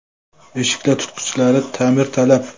Eshiklar tutqichlari ta’mirtalab.